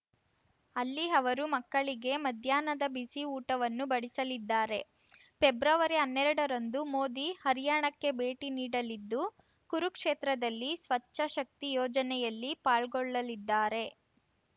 ಅಲ್ಲಿ ಅವರು ಮಕ್ಕಳಿಗೆ ಮಧ್ಯಾಹ್ನದ ಬಿಸಿ ಊಟವನ್ನು ಬಡಿಸಲಿದ್ದಾರೆ ಪೆಬ್ರವರಿಹನ್ನೆರಡರಂದು ಮೋದಿ ಹರ್ಯಾಣಕ್ಕೆ ಭೇಟಿ ನೀಡಲಿದ್ದು ಕುರುಕ್ಷೇತ್ರದಲ್ಲಿ ಸ್ವಚ್ಛ ಶಕ್ತಿ ಯೋಜನೆಯಲ್ಲಿ ಪಾಲ್ಗೊಳ್ಳಲಿದ್ದಾರೆ